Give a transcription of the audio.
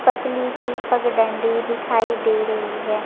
पतली सी पग डंडी दिखाई दे रही हे ।